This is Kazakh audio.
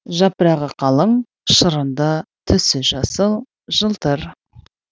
жапырағы калың шырынды түсі жасыл жылтыр